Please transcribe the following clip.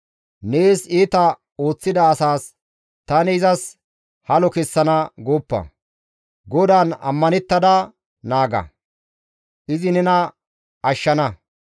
Neessi iita ooththida asas, «tani izas halo kessana» gooppa; GODAAN ammanettada naaga; izi nena ashshana.